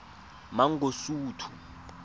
mangosuthu